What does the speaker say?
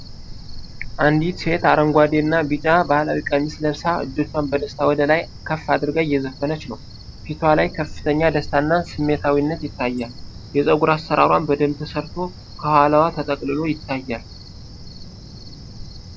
አንዲት ሴት አረንጓዴና ቢጫ ባሕላዊ ቀሚስ ለብሳ፣ እጆቿን በደስታ ወደ ላይ ከፍ አድርጋ እየዘፈነች ነው። ፊቷ ላይ ከፍተኛ ደስታና ስሜታዊነት ይታያል፤ የፀጉር አሠራሯም በደንብ ተሰርቶ ከኋላዋ ተጠቅልሎ ይታያል።